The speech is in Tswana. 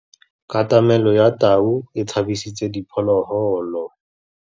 Katamêlô ya tau e tshabisitse diphôlôgôlô.